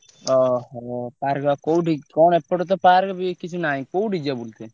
ଅହୋ! park କୋଉଠି କଣ ଏପଟେ ତ park ବି କିଛି ନାହିଁ। କୋଉଠି ଯିବା ବୁଲିତେ?